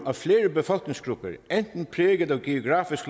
at flere befolkningsgrupper enten præget af geografisk